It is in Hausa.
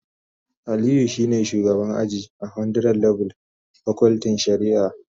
Aliyu shine shugaban aji a 100level pakultin shari'a